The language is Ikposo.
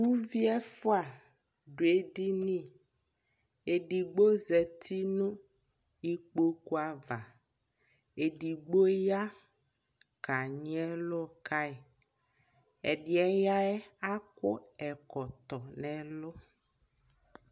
ʋvi ɛƒʋa dʋ ɛdini, ɛdigbɔ zati nʋ ikpɔkʋ aɣa ,ɛdigbɔ ya kanyi ɛlʋ kai, ɛdiɛ yaɛ akɔ ɛkɔtɔ nʋɛlʋ